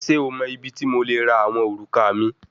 Ṣe o mọ ibiti mo le ra awọn oruka mi?